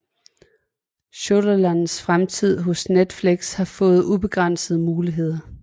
Shondalands fremtid hos Netflix har fået ubegrænsede muligheder